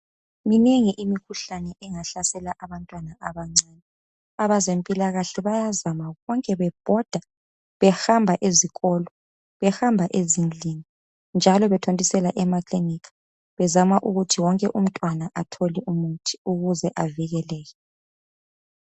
Minengi imikhuhlane engahlasela abantwana abancane. Abezempilakahle bayazama konke bebhoda behamba ezikolo, behamba ezindlini njalo bethontisela emakilinika bezama ukuthi wonke umntwana athole umuthi ukuze avikeleke.